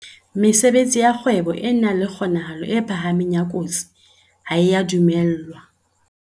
Mesebetsi ya kgwebo e nang le kgonahalo e phahameng ya kotsi ha e a dumellwa.